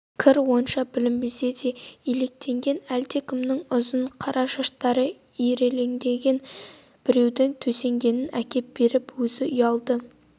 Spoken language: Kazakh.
кір онша білінбесе де илектенген әлдекімнің ұзын қара шаштары ирелеңдейді біреудің төсенгенін әкеп беріпті өзі ұялды